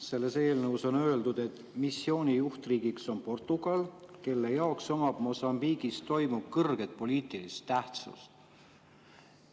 Selles eelnõus on öeldud, et missiooni juhtriik on Portugal, kelle jaoks omab Mosambiigis toimuv kõrget poliitilist tähtsust.